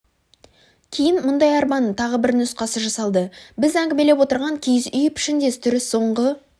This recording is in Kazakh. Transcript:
кейін мұндай арбаның тағы бір нұсқасы жасалды біз әңгімелеп отырған киіз үй пішіндес түрі соңғы